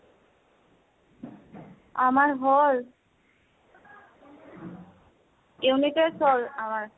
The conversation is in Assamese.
আমাৰ হʼল, unit test হʼল আমাৰ